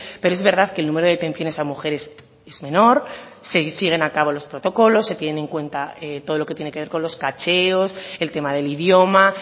pero es verdad que el número de detenciones a mujeres es menor siguen acabo los protocolos se tienen en cuenta todo lo que tiene que ver con los cacheos el tema del idioma